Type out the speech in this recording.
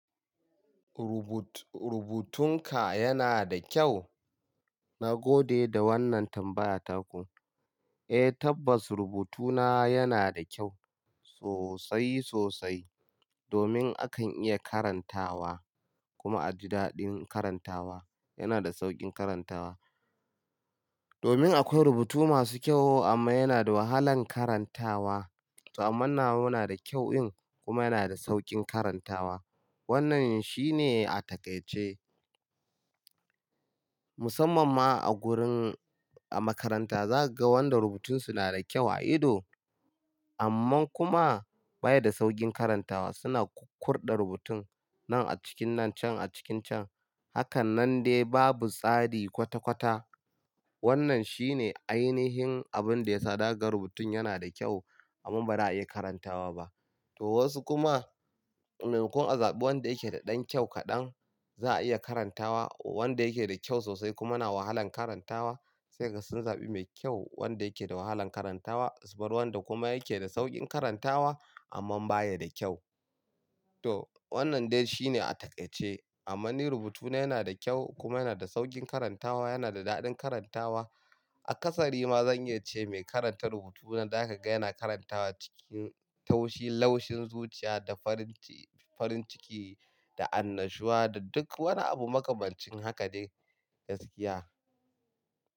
Rubut-rubutun ka yana da kyau? Na gode da wannan tambaya taku. Eh tabbas rubutu na yana da kyau sosai sosai, domin akan iya karantawa kuma a ji daɗin karantawa. Yana da sauƙin karantawa. Domin akwai rubutu masu kyau amma yana da wahalan karantawa. Amman nawa na da kyau in kuma yana da sauƙin karantawa. Wannan shi ne a taƙaice. Musamman ma a gurin a makaranta zaka ga wanda rubutun su na da kyau a ido. Amman kuma baya da sauƙin karantawa. Suna kukkurɗa rubutun nan a cikin nan can a cikin can. Hakan nan dai babu tsari kwata kwata. Wannan shi ne ainihin abin da ya zahaga rubutun yana da kyau amman bara a iya karantawa ba. To wasu kuma, maimakon a zaɓi wanda yake da ɗan kyau kaɗan za a iya karantawa wanda yake da kyau sosai kuma yana wahalan karantawa. Sai kaga sun zaɓi mai kyau wanda yake da wahalan karantawa. Su bar wanda kuma yake da sauƙin karantawa amman baya da kyau. To wannan dai shi ne a taƙaice. Amman ni rubutuna yana da kyau kuma yana da sauƙin karantawa yana da daɗin karantawa. Aƙasari ma zan iya ce mai karanta rubutuna zaka ga yana karantawa cikin taushi laushin zuciya da farin ci-farin ciki da annashuwa da duk wani abu makamancin haka dai gaskiya.